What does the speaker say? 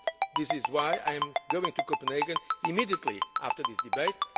deal. This is why I am going to Copenhagen immediately after this debate.